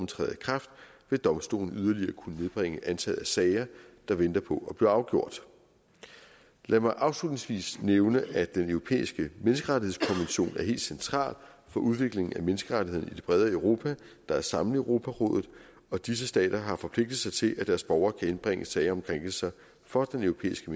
træder i kraft vil domstolen yderligere kunne nedbringe antallet af sager der venter på at blive afgjort lad mig afslutningsvis nævne at den europæiske menneskerettighedskommission er helt central for udviklingen af menneskerettighederne i det brede europa der er sammen i europarådet og disse stater har forpligtet sig til at deres borgere kan indbringe sager om krænkelser for den europæiske